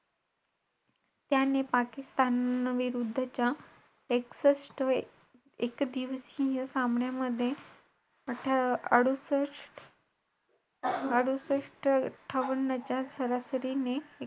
आणि एक विषय राहिलाय अजून तो आता कधी संगतेत काय महिती सोमवारी सांगितल बहुतेक सांगायला पाहिजे लवकर